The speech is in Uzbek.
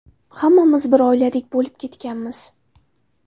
Hammamiz bir oiladek bo‘lib ketganmiz.